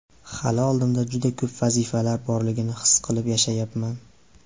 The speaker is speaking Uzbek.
Hali oldimda juda ko‘p vazifalar borligini his qilib yashayapman.